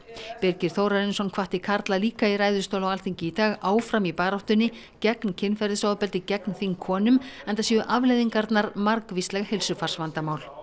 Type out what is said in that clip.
Birgir Þórarinsson hvatti karla líka í ræðustól á Alþingi í dag áfram í baráttunni gegn kynferðisofbeldi gegn þingkonum enda séu afleiðingarnar margvísleg heilsufarsvandamál